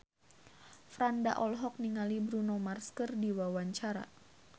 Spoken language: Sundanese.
Franda olohok ningali Bruno Mars keur diwawancara